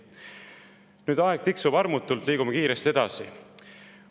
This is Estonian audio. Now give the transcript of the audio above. Nüüd, aeg tiksub armutult, liigume kiiresti edasi.